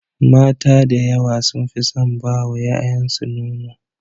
Mata da yawa sun fi son ba wa yayansu nono.